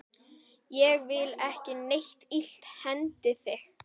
Ég vil ekki að neitt illt hendi þig.